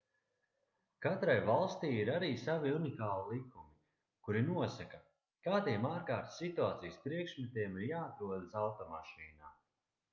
katrai valstij ir arī savi unikāli likumi kuri nosaka kādiem ārkārtas situācijas priekšmetiem ir jāatrodas automašīnā